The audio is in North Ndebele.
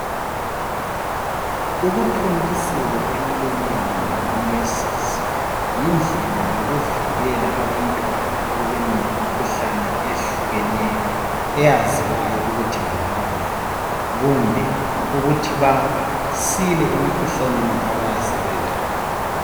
Ukuthontiselwa emlonyeni ngomongikazi yindlela yikuvikela abantwana ekubeni lemikhuhlane eyehlukeneyo eyaziwayo ukuthi bengaba layo kumbe ukuthi basile emikhuhlaneni abayabe sebelayo.